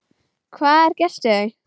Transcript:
Hvað er gert við þau?